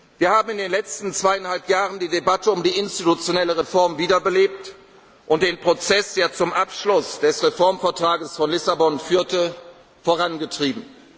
Wir haben in den letzten zweieinhalb Jahren die Debatte um die institutionelle Reform wiederbelebt und den Prozess, der zum Abschluss des Reformvertrags von Lissabon führte, vorangetrieben.